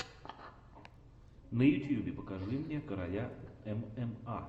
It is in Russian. на ютьюбе покажи мне короля мма